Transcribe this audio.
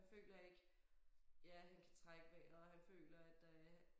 Han føler ikke ja han kan trække vejret og han føler at der er